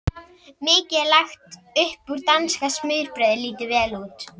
Mikið er lagt upp úr að danska smurbrauðið líti vel út.